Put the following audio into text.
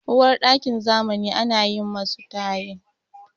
Uwarɗakin zamani ana yi masu tayil.